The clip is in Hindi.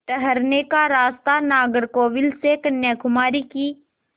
ठहरने का स्थान नागरकोविल से कन्याकुमारी की